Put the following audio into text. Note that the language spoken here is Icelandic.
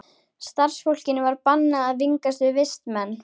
Starfsfólkinu var bannað að vingast við vistmenn.